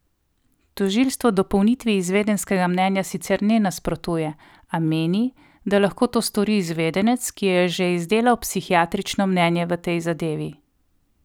Tožilstvo dopolnitvi izvedenskega mnenja sicer ne nasprotuje, a meni, da lahko to stori izvedenec, ki je že izdelal psihiatrično mnenje v tej zadevi.